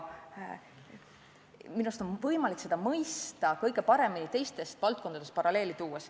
Minu arust on võimalik seda kõige paremini mõista, kui ma toon teistest valdkondadest paralleeli.